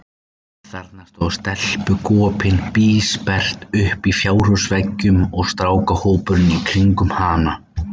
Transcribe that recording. Þarna stóð stelpugopinn bísperrt uppi á fjárhúsveggnum, og strákahópurinn í kringum hana.